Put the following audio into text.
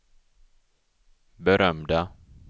berömda